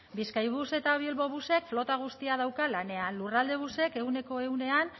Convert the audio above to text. bizkaibus eta bilbobusek flota guztia dauka lanean lurraldebusek ehuneko ehunean